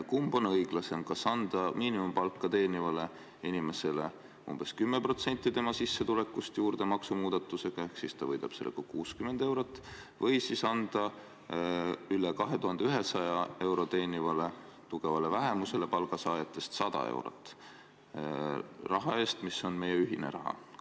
Kumb on õiglasem, kas anda miinimumpalka teenivale inimesele umbes 10% tema sissetulekust maksumuudatusega juurde, ehk ta võidab sellega 60 eurot, või anda üle 2100 euro teenivale tugevale vähemusele palgasaajatest 100 eurot, raha eest, mis on meie ühine raha?